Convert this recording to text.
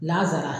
N'a sara